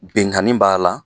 Benkani b'a la